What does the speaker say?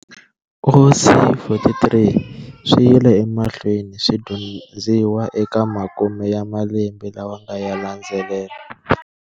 OC43 swiyile emahlweni swi dyondziwa eka makume ya malembe lawa yanga landzela.